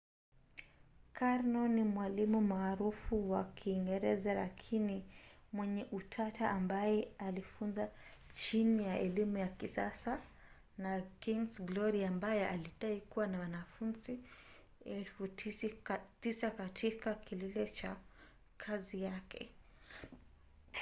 karno ni mwalimu maarufu wa kiingereza lakini mwenye utata ambaye alifunza chini ya elimu ya kisasa na king's glory ambaye alidai kuwa na wanafunzi 9,000 katika kilele cha kazi yake